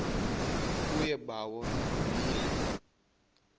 kuye bawo ndonile